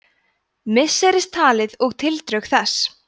misseristalið og tildrög þess